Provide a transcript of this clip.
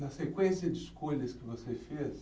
Na sequência de escolhas que você fez,